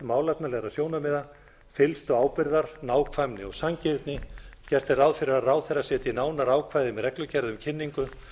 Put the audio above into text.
málefnalegra sjónarmiða fyllstu ábyrgðar nákvæmni og sanngirni gert er ráð fyrir að ráðherra setji nánari ákvæði með reglugerð um kynningu